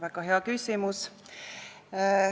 Väga hea küsimus.